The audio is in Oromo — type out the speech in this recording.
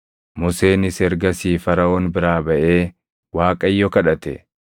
Museenis ergasii Faraʼoon biraa baʼee Waaqayyo kadhate;